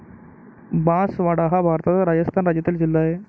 बांसवाडा हा भारताच्या राजस्थान राज्यातील जिल्हा आहे.